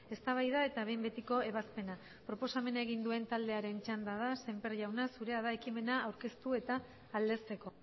eztabaida eta behin betiko ebazpena proposamena egin duen taldearen txanda da semper jauna zurea da ekimena aurkeztu eta aldezteko